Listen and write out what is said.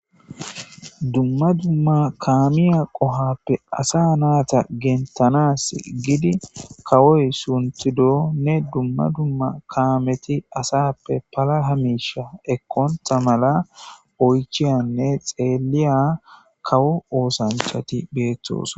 Duma duma kamiya qohuwappe asa nayita gentanasi gidi kawoyi suntidonne duma duma kameti asappe palaha misha ekonta mala oyichiyanne xeliya kawo osanchati betosona